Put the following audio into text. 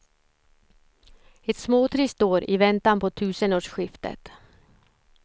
Ett småtrist år i väntan på tusenårsskiftet.